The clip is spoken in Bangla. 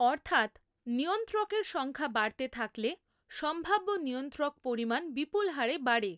অর্থাৎ, নিয়ন্ত্রকের সংখ্যা বাড়তে থাকলে সম্ভাব্য নিয়ন্ত্রক পরিমাণ বিপুল হারে বাড়ে।